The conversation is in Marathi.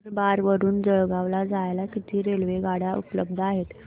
नंदुरबार वरून जळगाव ला जायला किती रेलेवगाडया उपलब्ध आहेत